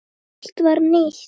Allt var nýtt.